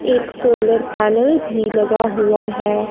एक solar panel भी लगा हुआ है।